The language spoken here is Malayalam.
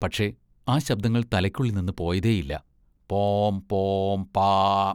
പക്ഷെ ആ ശബ്ദങ്ങൾ തലയ്ക്കുള്ളിൽനിന്ന് പോയതേയില്ല-പോം, പോം, പാ.